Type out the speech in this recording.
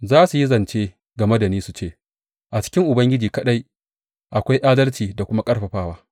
Za su yi zance game da ni su ce, A cikin Ubangiji kaɗai akwai adalci da kuma ƙarfafawa.’